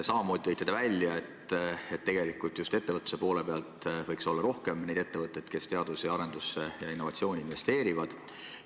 Samamoodi tõite esile, et tegelikult võiks olla rohkem neid ettevõtteid, kes teadus- ja arendustegevusse ja innovatsiooni investeerivad.